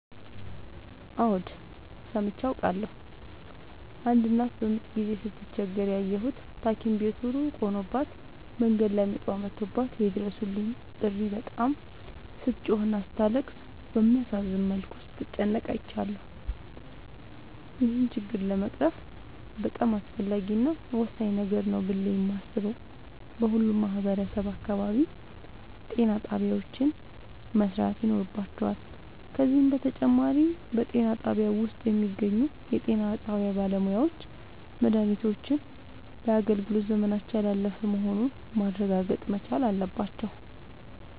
አዎድ ሠምቼ አውቃለሁ። አንድ እናት በምጥ ጊዜ ስትቸገር ያየሁት ታኪም ቤቱ እሩቅ ሆኖባት መንገድ ላይ ምጧ መቶባት የይድረሡልኝ ጥሪ በጣም ስትጮህና ስታለቅስ እንዲሁም በሚያሳዝን መልኩ ስትጨነቅ አይቻለሁ። ይህን ችግር ለመቅረፍ በጣም አስፈላጊ እና ወሳኝ ነገር ነው ብሌ የማሥበው በሁሉም ማህበረሠብ አካባቢ ጤናጣቢያዎች መሠራት ይኖርባቸዋል። ከዚህም በተጨማሪ በጤናጣቢያው ውስጥ የሚገኙ የጤናባለሙያዎች መድሃኒቶች የአገልግሎት ዘመናቸው ያላለፈ መሆኑን ማረጋገጥ መቻል አለባቸው።